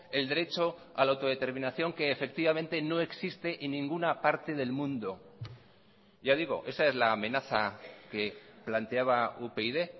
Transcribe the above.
el derecho a la autodeterminación que efectivamente no existe en ninguna parte del mundo ya digo esa es la amenaza que planteaba upyd